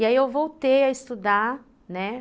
E aí eu voltei a estudar, né?